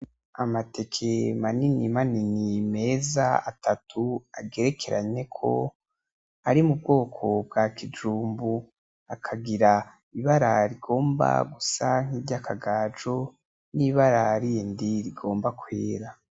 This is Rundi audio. Amateke manini manini meza atatu agerekeranye ko ari m'ubwoko bwa kijumbu, akagira ibara rigomba gusa nk'iryakagajo nibara rindi rigomba kwera.